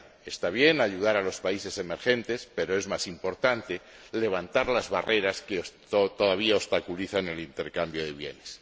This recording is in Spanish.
Está bien ayudar a los países emergentes, pero es más importante levantar las barreras que todavía obstaculizan el intercambio de bienes.